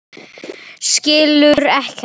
Skilur ekkert.